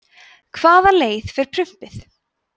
hvaða leið fer prumpið